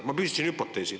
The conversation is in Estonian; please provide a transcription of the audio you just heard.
Ma püstitasin hüpoteesi.